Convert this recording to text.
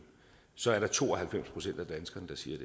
så er der to og halvfems procent af danskerne der siger